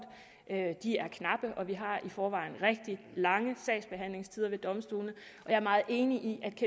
de er knappe og vi har i forvejen rigtig lange sagsbehandlingstider ved domstolene jeg er meget enig i